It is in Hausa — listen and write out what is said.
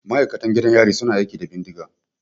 Ma'aikatan gidan yari su na aiki da bindiga.